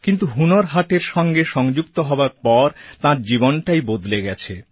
কিন্তু হুনর হাটের সঙ্গে সংযুক্ত হবার পর তাঁর জীবনটাই বদলে গেছে